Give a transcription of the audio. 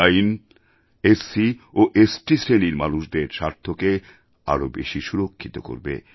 এই আইন এসসি ও স্ট শ্রেণির মানুষদের স্বার্থকে আরও বেশি সুরক্ষিত করবে